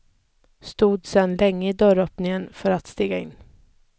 Stod sen länge i dörröppningen för att stiga in.